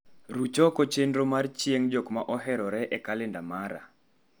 Ruch oko chenro mar chieng' jok ma oherore e kalenda mara